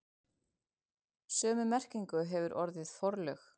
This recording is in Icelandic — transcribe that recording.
Sömu merkingu hefur orðið forlög.